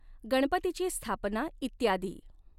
गणपतीची स्थापना इत्यादी.